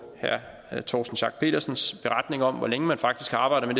herre torsten schack petersens beretning om hvor længe man faktisk har arbejdet